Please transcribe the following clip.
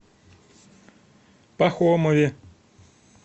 пахомове